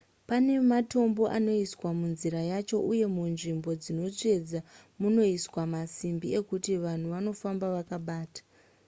pane matombo anoiswa munzira yacho uye munzvimbo dzinotsvedza munoiswa masimbi ekuti vanhu vanofamba vakabata